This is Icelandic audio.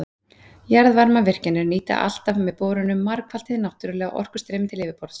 Jarðvarmavirkjanir nýta alltaf með borunum margfalt hið náttúrlega orkustreymi til yfirborðs.